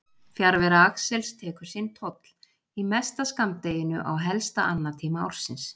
Fjarvera Axels tekur sinn toll, í mesta skammdeginu á helsta annatíma ársins.